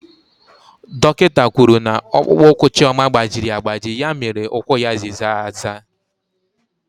Dọkịta kwuru na ọkpụkpụ ụkwụ Chioma gbajiri agbaji ya mere ụkwụ ya ji zaa aza.